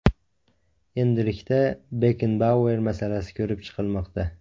Endilikda Bekkenbauer masalasi ko‘rib chiqilmoqda.